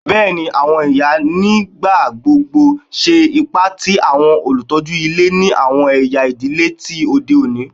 Bẹẹni, awọn iya nigbagbogbo ṣe ipa ti awọn olutọju ile ni awọn ẹya idile ti ode oni